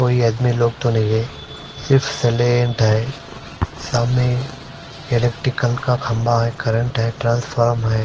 कोई आदमी लॉक तो नही है सिर्फ सेलेंत है सामने इलेक्टिकल का खम्भा है करंट है ट्रांसफॉर्म है।